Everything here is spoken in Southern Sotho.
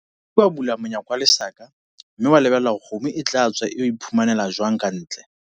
O ke ke wa bula monyako wa lesaka, mme wa lebella hore kgomo e tla tswa e yo iphumanela jwang ka ntle.